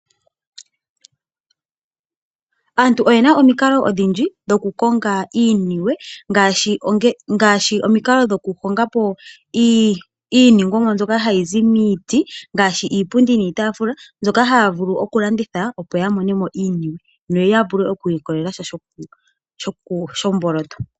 Aantu oyena omikalo odhindji dhokukonga iiniwe ngaashi omukalo gwokuhongapo iiningwomwa mbyoka hayi zi miiti ngaashi Iipundi niitaafula , mbyoka haya vulu okulanditha opo yamonemo iiniwe noya vule okwiilikolela sha shomboloto.